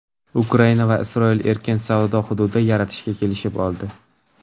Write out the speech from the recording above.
Ukraina va Isroil erkin savdo hududi yaratishga kelishib oldi.